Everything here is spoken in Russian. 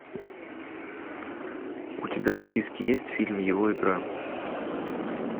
у тебя в списке есть фильм его игра